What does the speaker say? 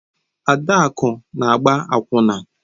Adaku na-agba akwụna.